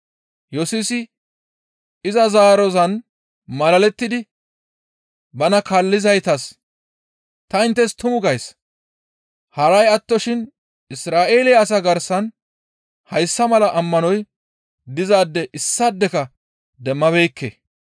Yesusi iza zaarozan malalettidi bana kaallizaytas, «Ta inttes tumu gays; haray attoshin Isra7eele asaa garsan hayssa mala ammanoy dizaade issaadeka demmabeekke.